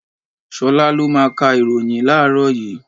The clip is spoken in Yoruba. Ṣolá lo máa ka ìròyìn láàrọ́ yìí.